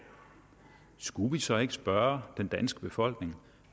skulle vi så ikke spørge den danske befolkning